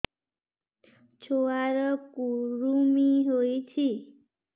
ଛୁଆ ର କୁରୁମି ହୋଇଛି